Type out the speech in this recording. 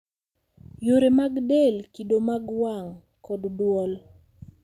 Yore mag del, kido mag wang’, kod dwol